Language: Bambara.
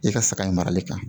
I ka saga in marali kan